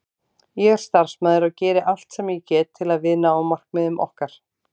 Ég er starfsmaður og geri allt sem ég get til að við náum markmiðum okkar.